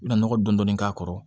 I bina nɔgɔ dɔɔnin k'a kɔrɔ